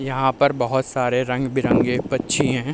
यहाँ पर बहोत सारे रंग-बिरंगी पक्षी है।